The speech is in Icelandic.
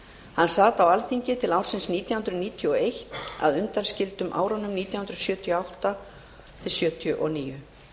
hann sat á alþingi til ársins nítján hundruð níutíu og eitt að undanskildum árunum nítján hundruð sjötíu og átta til sjötíu og níu